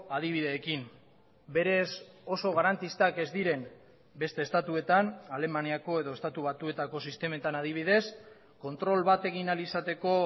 adibideekin berez oso garantistak ez diren beste estatuetan alemaniako edo estatu batuetako sistemetan adibidez kontrol bat egin ahal izateko